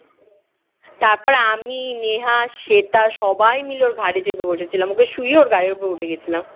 তারপরে আমি, নেহা, শ্বেতা সবাই মিলে ওর ঘাড়ে চেপে বসেছিলাম ওকে শুইয়ে ওর ঘাড়ের ওপর উঠে গেছিলাম